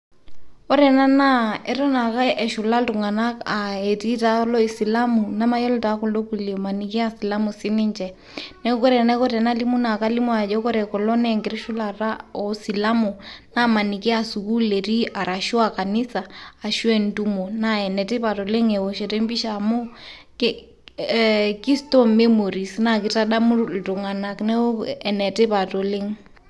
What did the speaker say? Ore ena naa eton ake eshula iltung'anak aa etii taa loo isilamu namayilo taa kudo kuliek maniki aaa silamu sininje. Neeku kore enaiko paalimu naa kalimu ajo kore kulo nee enkiti shula apa oo silamu amaniki a sukuul etii arashu a kanisa ashu a entumo. Naa ene tipat oleng' eoshoto e mpisha amu ki ee ki store memories naake itadamu iltung'anak neeku ene tipat oleng'.